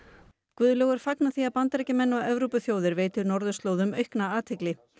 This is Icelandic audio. Guðlaugur fagnar því að Bandaríkjamenn og Evrópuþjóðir veiti norðurslóðum aukna athygli